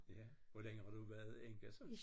Ja hvor længe har du været enke så?